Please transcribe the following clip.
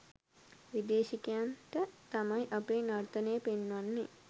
විදේශිකයන්ට තමයි අපේ නර්තනය පෙන්වන්නෙ.